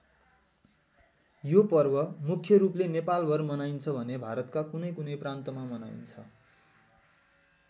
यो पर्व मुख्य रूपले नेपालभर मनाइन्छ भने भारतका कुनैकुनै प्रान्तमा मनाइन्छ।